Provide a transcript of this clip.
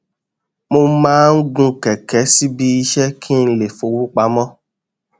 mo máa ń gun kẹkẹ síbi iṣẹ kí n lè fọwó pamọ